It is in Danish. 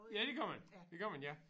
Ja det gør man. Det gør man ja